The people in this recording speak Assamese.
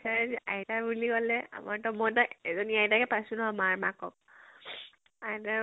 আইতাই যে, আইতা বুলিবলে আমাৰ ত মই ত এজনী আইতাকে পাইছো ন, মাৰ মাকক। আইতাই